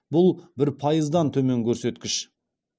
бұл бір пайыздан төмен көрсеткіш